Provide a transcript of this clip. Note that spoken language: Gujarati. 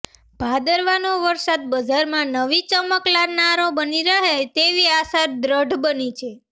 ભાદરવાનો વરસાદ બજારમાં નવી ચમક લાવનારો બની રહે તેવી આશા દ્રઢ બની છે